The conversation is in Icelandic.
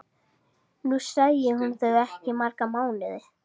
Nú sæi hún þau ekki í marga mánuði.